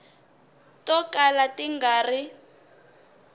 to kala ti nga ri